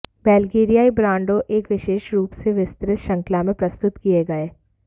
बल्गेरियाई ब्रांडों एक विशेष रूप से विस्तृत श्रृंखला में प्रस्तुत किए गए